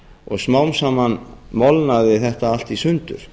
og smám saman molnaði þetta allt í sundur